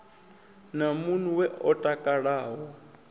na mun we o takalaho